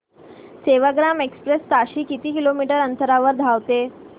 Sevagram express ताशी किती kilometre अंतराने धावते